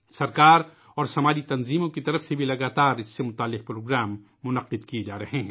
حکومت اور سماجی اداروں کی طرف سے بھی لگاتار اس طرح کے پروگراموں کا انعقاد کیا جا رہا ہے